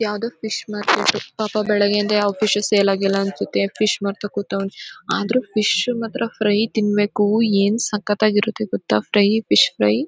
ಯಾವುದೊ fish market ಪಾಪ ಬೆಳಗಿಂದ ಯಾವ ಫಿಶು ಸೇಲ್ ಆಗಿಲ್ಲ ಅನಿಸುತ್ತೆ. ಫಿಶ್ ಮಾರ್ತಾ ಕೂತವ್ನೆ. ಆದ್ರೂ ಫಿಶ್ ಮಾತ್ರ ಫ್ರೈ ತಿನ್ಬೇಕು. ಏನು ಸಖತ್ತಾಗಿರುತ್ತೆ ಗೊತ್ತ ಫ್ರೈ ಫಿಶ್ ಫ್ರೈ .